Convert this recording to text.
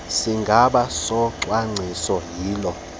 sigaba socwangciso yiloo